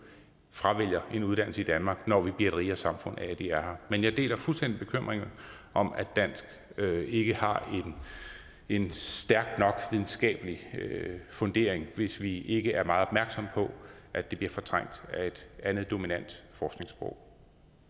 fravælger en uddannelse i danmark når vi bliver et rigere samfund af at de er her men jeg deler fuldstændig bekymringen om at dansk ikke har en stærk nok videnskabelig fundering hvis vi ikke er meget opmærksomme på at det bliver fortrængt af et andet dominant forskningssprog